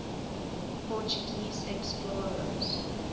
portuguese explorers